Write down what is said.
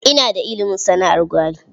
Ina da ilimin sana'ar gwari.